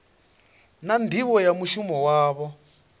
na nḓivho ya mushumo wavho